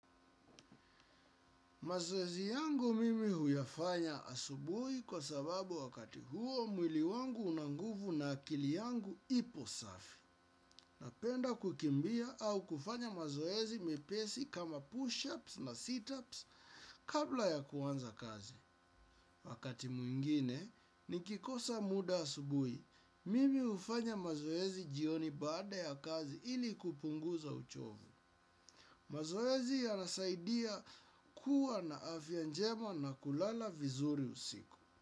Mazoezi yangu mimi huyafanya asubuhi kwa sababu wakati huo mwili wangu una nguvu na akili yangu ipo safi. Napenda kukimbia au kufanya mazoezi mepesi kama push-ups na sit-ups kabla ya kuanza kazi. Wakati mwingine, nikikosa muda asubuhi, mimi hufanya mazoezi jioni baada ya kazi ili kupunguza uchovu. Mazoezi yanasaidia kuwa na afya njema na kulala vizuri usiku.